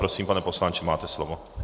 Prosím, pane poslanče, máte slovo.